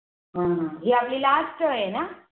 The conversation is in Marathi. अह हि आपली Last आहे ना